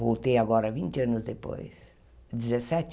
Voltei agora vinte anos depois. Dezessete